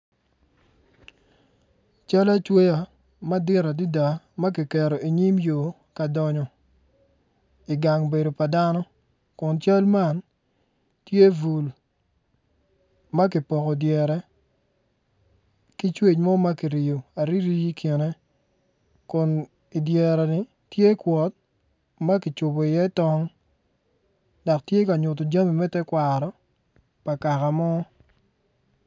Cal acweya madit adada ma ki keto i nyim yo ka dongo i gang bedo pa dano kun cal man tye bul ma kipoko dyere ki cwec mo ma kicweyo ariri i kine kun i dyere ni tye kwot ma kicubo iye tong dok tye ka nyuto jami me tekwaro pa kaka mo.